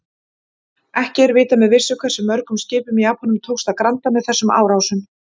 Ekki er vitað með vissu hversu mörgum skipum Japönum tókst að granda með þessum árásum.